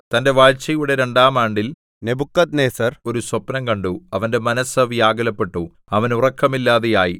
തന്റെ വാഴ്ചയുടെ രണ്ടാം ആണ്ടിൽ നെബൂഖദ്നേസർ ഒരു സ്വപ്നം കണ്ടു അവന്റെ മനസ്സ് വ്യാകുലപ്പെട്ടു അവന് ഉറക്കമില്ലാതെയായി